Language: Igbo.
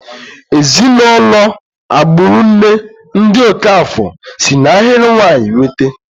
Ezinụlọ agburu nne, ndị Okafor, si n'ahịrị nwanyị nweta.